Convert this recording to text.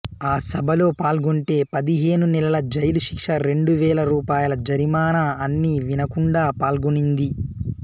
ఆ సభలో పాల్గొంటే పదిహేను నెలల జైలు శిక్ష రెండు వేల రూపాయల జరీమానా అన్నా వినకుండా పాల్గొనింది